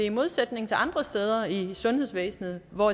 i modsætning til andre steder i sundhedsvæsenet hvor